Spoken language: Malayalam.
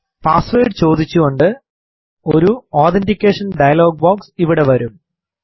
പാസ്സ്വേർഡ് ചോദിച്ചുകൊണ്ട് ഒരു അതെന്റിക്കേഷൻ ഡയലോഗ് ബോക്സ് ഇവിടെ വരും